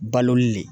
Baloli le